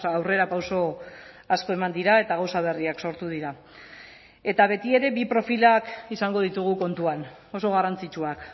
aurrerapauso asko eman dira eta gauza berriak sortu dira eta betiere bi profilak izango ditugu kontuan oso garrantzitsuak